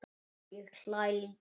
Ég hlæ líka.